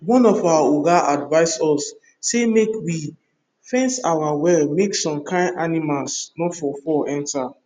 one of our oga advice us say make we fence our well make some kind animals nor for fall enter